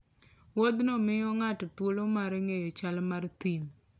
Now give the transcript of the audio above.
Wuodhno miyo ng'ato thuolo mar ng'eyo chal mar thim.